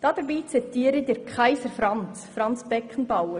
Dazu zitiere ich «Kaiser» Franz Beckenbauer.